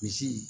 Misi